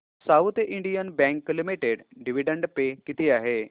south Indian Bank Limited dividend pay किती आहे